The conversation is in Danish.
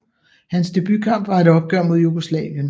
Hans debutkamp var et opgør mod Jugoslavien